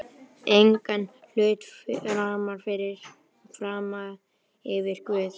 Og taktu engan hlut frammyfir Guð.